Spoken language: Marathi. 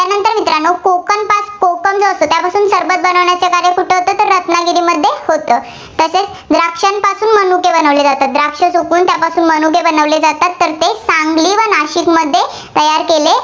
तर मित्रांनो कोकम कोकम जो असतो, त्यापासून सरबत बनवण्याचं कार्य कुठं होतं? तर रत्नागिरीमध्ये होते. तसेच द्राक्षांपासून मनुके बनवले जातात. द्राक्ष सुकवून मनुके बनवले जातात, तर ते सांगली व नाशिकमध्ये तयार केले